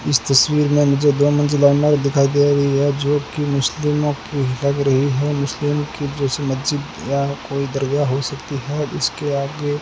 इस तस्वीर में मुझे दो मंजिला इमारत दिखाई दे रही है जो कि मुस्लिमों की लग रही है मुस्लिम की जैसे मस्जिद या कोई दरगाह हो सकती है इसके आगे--